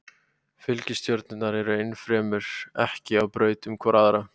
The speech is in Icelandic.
Fylgistjörnurnar eru ennfremur ekki á braut um hvor aðra.